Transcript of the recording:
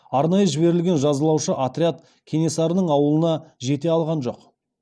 арнайы жіберілген жазалаушы отряд кенесарының ауылына жете алған жоқ